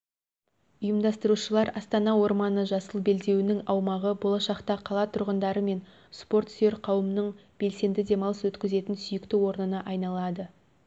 ұйымдастырушылар астана орманы жасыл белдеуінің аумағы болашақта қала тұрғындары мен спорт сүйер қауымның белсенді демалыс өткізетін сүйікті орнына айналады